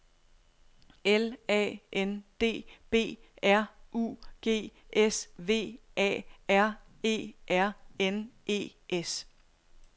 L A N D B R U G S V A R E R N E S